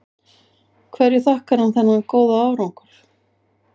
Hverju þakkar hann þennan góða árangur?